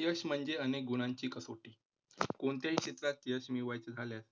यश म्हणजे अनेक गुणांची कसोटी. कोणत्याही क्षेत्रात यश मिळवायचे झाल्यास